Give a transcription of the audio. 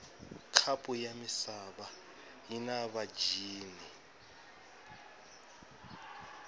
khapu yamisava yinavatjini